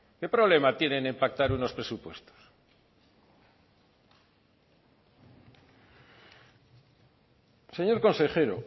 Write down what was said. qué problema tienen en pactar unos presupuestos señor consejero